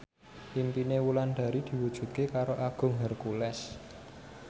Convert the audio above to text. impine Wulandari diwujudke karo Agung Hercules